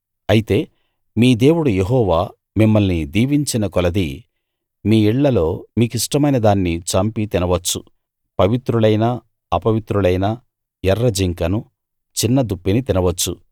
అయితే మీ దేవుడు యెహోవా మిమ్మల్ని దీవించిన కొలది మీ ఇళ్ళలో మీకిష్టమైన దాన్ని చంపి తినవచ్చు పవిత్రులైనా అపవిత్రులైనా ఎర్రజింకను చిన్న దుప్పిని తినవచ్చు